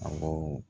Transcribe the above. Awɔ